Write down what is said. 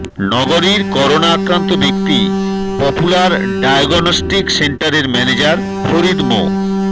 নগরীর করোনা আক্রান্ত ব্যক্তি পপুলার ডায়াগনস্টিক সেন্টারের ম্যানেজার ফরিদ মো